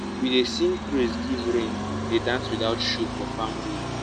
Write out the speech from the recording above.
we dey sing praise give rain dey dance without shoe for farm road.